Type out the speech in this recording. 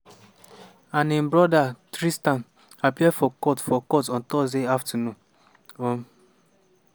and im brother tristan appear for court for court on thursday afternoon. um